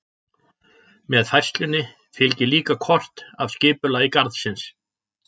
Með færslunni fylgir líka kort af skipulagi garðsins.